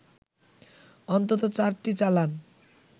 অন্তত চারটি চালান